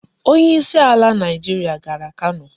Onye isi ala Naịjirịa gara Kano.